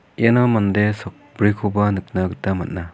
iano mande sakbrikoba nikna gita man·a.